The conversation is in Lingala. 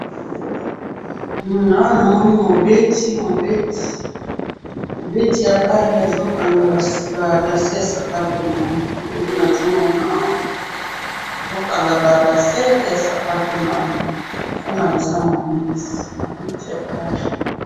awa namoni mobeti, mobeti, mobeti ya balle azo kanga ba lassés ya sapato naye, nde nazo mona awa, azo kanga ba lassés ya sapato naye, wana eza mobeti, mobeti ya balle.